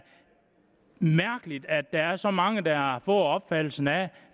mærkeligt at der er så mange der har fået opfattelsen af